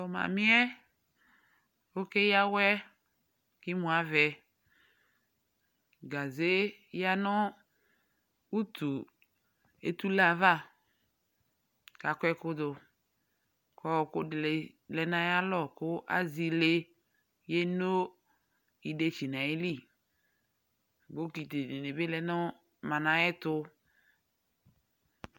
Tʋ mamɩ yɛ, ɔkeyǝ awɛ kʋ emuavɛ Gaze yǝ nʋ utu etule yɛ ava kʋ akɔ ɛkʋ dʋ kʋ ɔɣɔkʋ dɩ lɛ nʋ ayalɔ kʋ azɛ ile yeno idetsi nʋ ayili Bɔkɩtɩ dɩbɩ bɩ lɛ nʋ mama yɛ tʋ